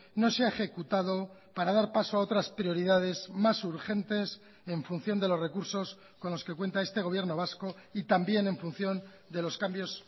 no se ha ejecutado para dar paso a otras prioridades más urgentes en función de los recursos con los que cuenta este gobierno vasco y también en función de los cambios